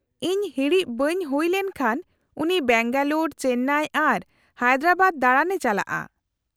-ᱤᱧ ᱦᱤᱲᱤᱡ ᱵᱟᱹᱧ ᱦᱩᱭ ᱞᱮᱱ ᱠᱷᱟᱱ , ᱩᱱᱤ ᱵᱮᱝᱜᱟᱞᱳᱨ , ᱪᱮᱱᱱᱟᱭ ᱟᱨ ᱦᱟᱭᱫᱨᱟᱵᱟᱫ ᱫᱟᱬᱟᱱᱮ ᱪᱟᱞᱟᱜᱼᱟ ᱾